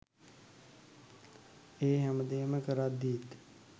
ඒ හැමදේම කරද්දීත්